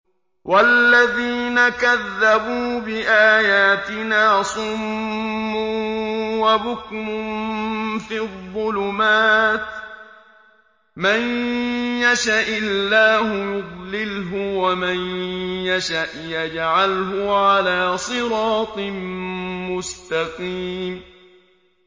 وَالَّذِينَ كَذَّبُوا بِآيَاتِنَا صُمٌّ وَبُكْمٌ فِي الظُّلُمَاتِ ۗ مَن يَشَإِ اللَّهُ يُضْلِلْهُ وَمَن يَشَأْ يَجْعَلْهُ عَلَىٰ صِرَاطٍ مُّسْتَقِيمٍ